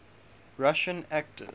russian actors